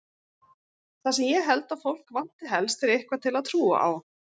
Það sem ég held að fólk vanti helst er eitthvað til að trúa á.